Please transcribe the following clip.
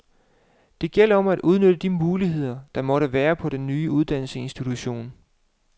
Det gælder om at udnytte de muligheder, der måtte være på den nye uddannelsesinstitution.